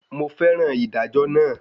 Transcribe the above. Mo fẹ́ràn ìdájọ́ naa